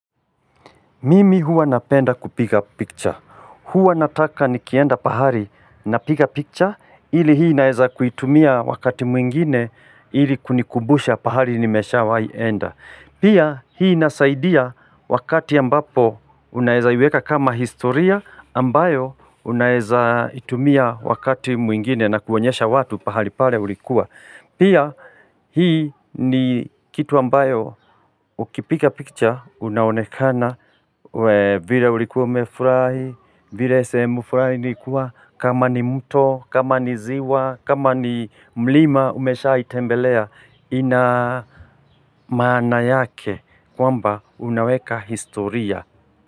Mimi huwa napenda kupiga picture, huwa nataka nikienda pahali napiga picture ili hii naeza kuitumia wakati mwingine ili kunikubusha pahali nimesha wahi enda. Pia hii inasaidia wakati ambapo unaeza iweka kama historia ambayo unaeza itumia wakati mwingine na kuonyesha watu pahali pale ulikua. Pia hii ni kitu ambayo ukipiga picture unaonekana vire ulikuwa umefurahi, vire sehemu flani ilikuwa kama ni mto, kama ni ziwa, kama ni mlima umeshaitembelea ina maana yake kwamba unaweka historia.